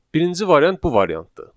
Birinci variant bu variantdır.